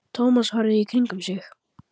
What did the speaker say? Thomas horfði í kringum sig.